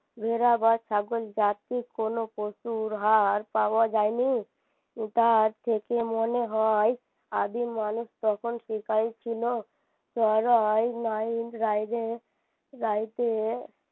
ভেড়া বা ছাগল জাতির কোন পশুর হাড় পাওয়া যায়নি তার থেকে মনে হয় আদিম মানুষ তখন শিকারি ছিল সরাই রাইতে